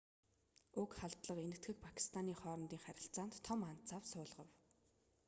уг халдлага энэтхэг пакистаны хоорондын харилцаанд том ан цав суулгав